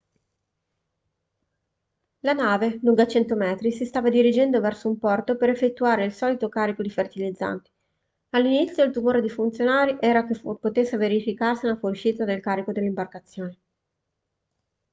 la nave lunga 100 metri si stava dirigendo verso un porto per effettuare il solito carico di fertilizzanti all'inizio il timore dei funzionari era che potesse verificarsi una fuoriuscita del carico dall'imbarcazione